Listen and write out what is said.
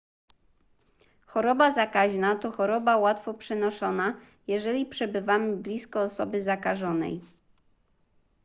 choroba zakaźna to choroba łatwo przenoszona jeżeli przebywamy blisko osoby zakażonej